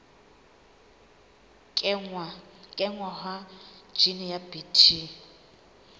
kenngwa ha jine ya bt